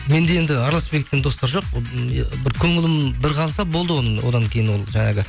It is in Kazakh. менде енді араласпай кеткен достар жоқ бір көңілім бір қалса болды оның одан кейін ол жаңағы